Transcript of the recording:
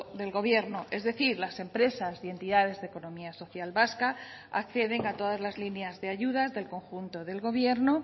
del gobierno es decir las empresas y entidades de economía social vasca acceden a todas las líneas de ayudas del conjunto del gobierno